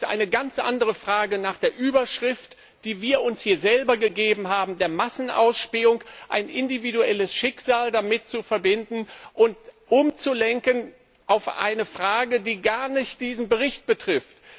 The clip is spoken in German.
Aber es ist eine ganz andere Frage nach der Überschrift, die wir uns hier selber gegeben haben, der Massenausspähung ein individuelles Schicksal damit zu verbinden und umzulenken auf eine Frage, die gar nicht diesen Bericht betrifft.